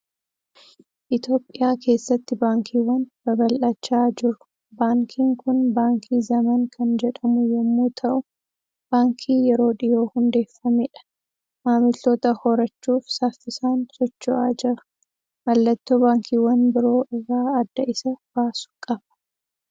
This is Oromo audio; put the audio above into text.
Itoophiyaa keessatti Baankiiwwan babal'achaa jiru. Baankiin kun Baankii Zemen kan jedhamu yommuu ta'u, baankii yeroo dhiyoo hundeeffamedha. Maamiltoota horachuuf saffisaan socho'aa jira. Mallattoo baankiiwwan biroo irraa adda isa baasu qaba.